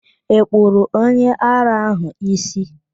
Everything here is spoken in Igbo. Ị kpụrụ onye ara ahụ ísí?